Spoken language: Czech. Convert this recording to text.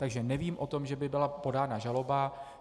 Takže nevím o tom, že by byla podána žaloba.